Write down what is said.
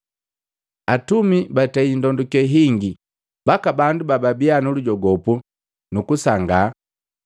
Atumi batei ndondoke hingi mbaka bandu babia nulujogopu nu kusangaa.